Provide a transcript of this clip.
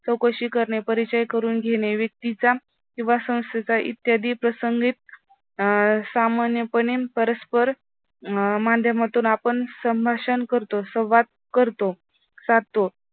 चौकशी करणे, परिचय करून घेणे. व्यक्तीचा किंवा संस्थेचा इत्यादी प्रसंगीत अं सामान्यपणे परस्पर माध्यमातून आपण संभाषण करतो संवाद करतो राहतो.